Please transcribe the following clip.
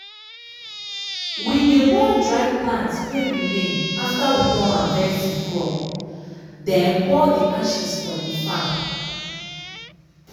we dey burn dry plant wey remain afta we don harvest de crop den pour de ashes for de farm.